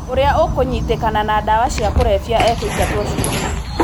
Ũrĩa ũkũnyitĩkana na dawa cia kũrebia ekũingatwo cukuru.